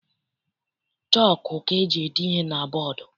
Chọku ka eji ede ihe na bọdu.